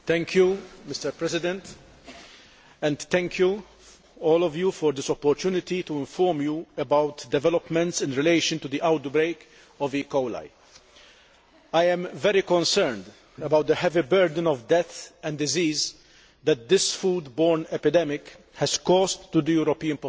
Mr President, I should like to thank all of you for this opportunity to inform you about developments in relation to the outbreak of E coli. I am very concerned about the heavy burden of death and disease that this food borne epidemic has caused the European population